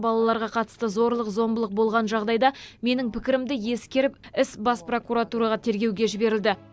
балаларға қатысты зорлық зомбылық болған жағдайда менің пікірімді ескеріп іс бас прокуратураға тергеуге жіберілді